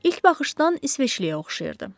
İlk baxışdan İsveçliyə oxşayırdı.